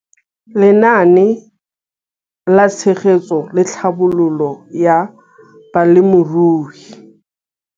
Lenaane la Tshegetso le Tlhabololo ya Balemirui.